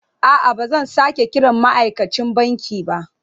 A'a, ba zan sake kiran ma'aikacin banki ba.